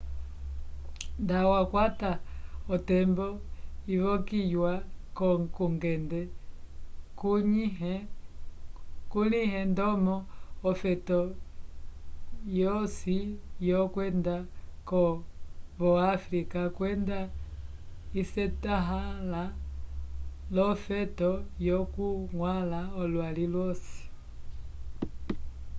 nda wakwata otembo ivokiyiwa kungende kulĩhe ndomo ofeto yosi yokwenda vo áfrica kwenda isetahãla l'ofeto lyokuñgwãla olwali lwosi